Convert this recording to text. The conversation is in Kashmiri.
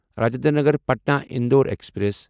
راجندر نگر پٹنا اندور ایکسپریس